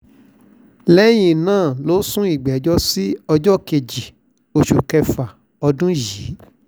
lẹ́yìn náà ló sún ìgbẹ́jọ́ sí ọjọ́ kejì oṣù kẹfà ọdún yìí